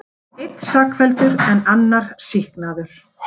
Einn sakfelldur en annar sýknaður